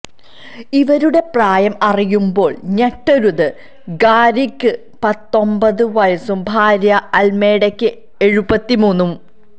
ഇവരുടെ പ്രായം അറിയുമ്പോള് ഞെട്ടരുത് ഗാരിക്ക് പത്തൊമ്പതു വയസും ഭാര്യ അല്മേഡയ്ക്ക് എഴുപത്തിമൂന്നും